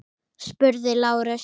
spurði Lárus.